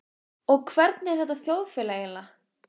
Og hvernig er þetta þjóðfélag eiginlega?